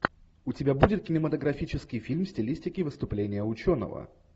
у тебя будет кинематографический фильм в стилистике выступление ученого